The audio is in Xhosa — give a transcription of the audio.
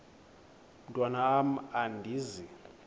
mntwan am andizi